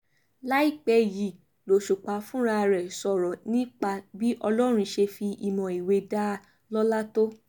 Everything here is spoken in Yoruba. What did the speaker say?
láìpẹ́ yìí lòṣùpá fúnra rẹ̀ sọ̀rọ̀ nípa bí ọlọ́run ṣe fi ìmọ̀ ìwé dá a lọ́lá tó